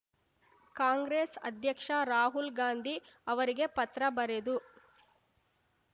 ಕಾಂಗ್ರೆಸ್ ಅಧ್ಯಕ್ಷ ರಾಹುಲ್ ಗಾಂಧಿ ಅವರಿಗೆ ಪತ್ರ ಬರೆದು